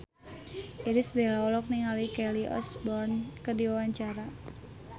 Irish Bella olohok ningali Kelly Osbourne keur diwawancara